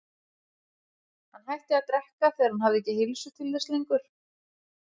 Hann hætti að drekka þegar hann hafði ekki heilsu til þess lengur.